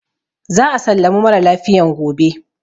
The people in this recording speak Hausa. Za a sallami mara lafiyan gobe.